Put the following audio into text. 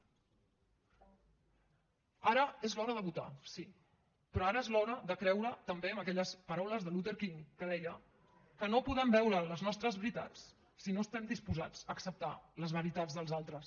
ara és l’hora de votar sí però ara és l’hora de creure també en aquelles paraules de luther king que deia que no podem veure les nostres veritats si no estem disposats a acceptar les veritats dels altres